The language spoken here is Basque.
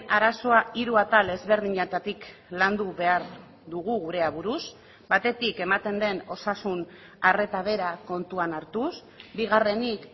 arazoa hiru atal ezberdinetatik landu behar dugu gure aburuz batetik ematen den osasun arreta bera kontuan hartuz bigarrenik